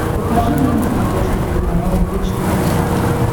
покажи мне на смотрешке телеканал бридж тв классик